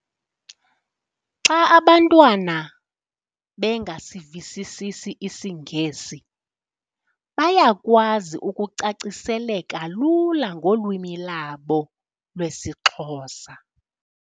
Xa abantwana bengasivisisisi isiNgesi bayakwazi ukucaciseleka lula ngolwimi labo lwesiXhosa.